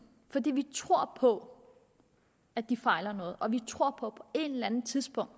fordi vi tror på at de fejler noget og vi tror på et eller andet tidspunkt